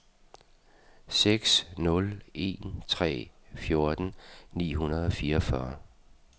seks nul en tre fjorten ni hundrede og fireogfyrre